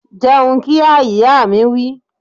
Jẹun kíá! Ìyá mi wí